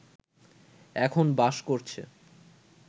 এখন বাস করছে